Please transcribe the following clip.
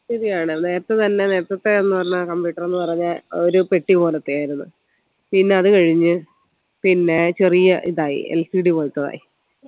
ശരിയാണല്ലേ നേരത്തെ നല്ല നേരത്തത്തെ എന്ന് പറഞ്ഞാൽ ഏന് പറഞ്ഞാൽ computer എന്ന് പറഞ്ഞാൽ ഒരു പെട്ടി പോലെത്തെ ആയിരുന്നു പിന്നെ അത് കഴിഞ്ഞ് പിന്നെ ചെറിയ ഇതായി LCD പോലെത്തെതായി